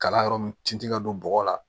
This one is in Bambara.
Kalan yɔrɔ mun tin tɛ ka don bɔgɔ la